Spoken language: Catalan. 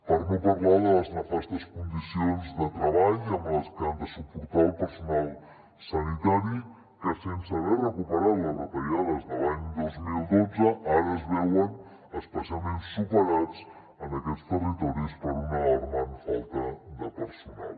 per no parlar de les nefastes condicions de treball que ha de suportar el personal sanitari que sense haver recuperat les retallades de l’any dos mil dotze ara es veuen especialment superats en aquests territoris per una alarmant falta de personal